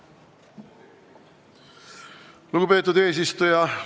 Lugupeetud eesistuja!